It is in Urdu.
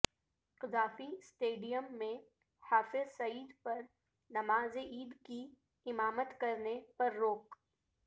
قذافی اسٹیڈیم میں حافظ سعید پر نماز عید کی امامت کرنے پر روک